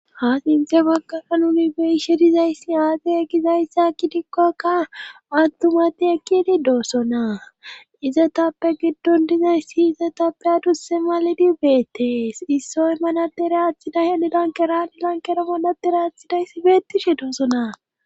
ha sinthe baggala nunibeyi shidizayssi aade eggizayssa akki dikkokka mattumati ekkidi doossona izatappe giddon dizayssi izatappe adusse malidi beettees issoy manadere aathiday hanidankeranilankera molatere aathidayssi beettishe doosonaa